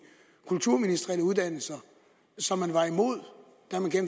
kulturministerielle uddannelser som man var imod og